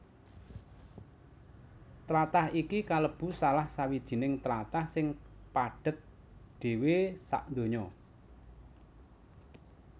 Tlatah iki kalebu salah sawijining tlatah sing padhet dhéwé sadonya